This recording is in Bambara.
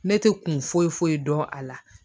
Ne tɛ kun foyi foyi dɔn a la